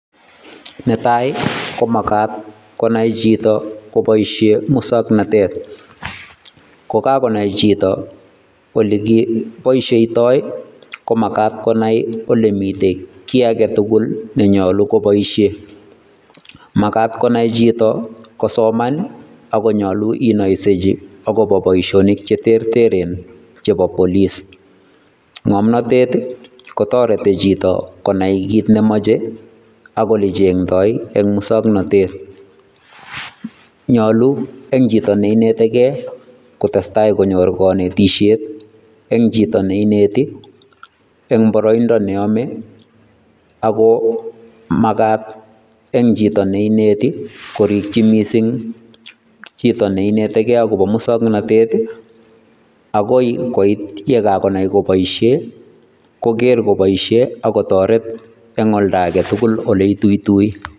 Netai, komagat konai chito koboisie musoknatet. Kokagonai chito ole kibaisietoi komagat konai ole mite kiy age tugul nenyolu koboishe. Magat konai chito kosoman ii ago nyolu inaiseji agobo boisionik cheterteren chebo police. Ng'omnotet kotorete chito konai giit nemache ak ole cheng'ndoi eng' musoknatet. Nyolu eng' chito neinetegei kotestai konyor konetisiet eng' chito neineti eng' boroindo neyame ago magat eng' chito neineti korikchi missing chito neinetegei akobo musoknatet, agoi koit yekagonai koboishe koger koboishe ago toret eng' olda age tugul ole ituitui.